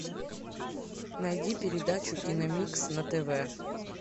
найди передачу киномикс на тв